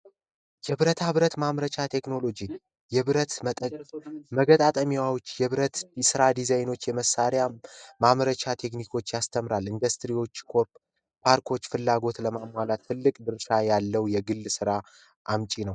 ብረት ማምረቻ ቴክኖሎጂ የብረት የብረት ስራ ዲዛይኖች የመሳሪያ ማምረቻ ቴክኒኮች ያስተምራል ኢንዱስትሪዎች ፍላጎት ለማሟላት ትልቅ ድርሻ ያለው የግል ስራ አምጪ ነው